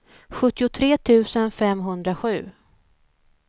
sjuttiotre tusen femhundrasju